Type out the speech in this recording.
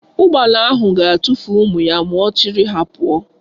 Ụgbala anyị ga-atụfu ụmụ ya ma ọ chịrị ha pụọ.